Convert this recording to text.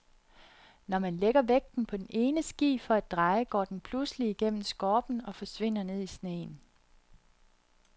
Når man lægger vægten på den ene ski for at dreje, går den pludselig igennem skorpen og forsvinder ned i sneen.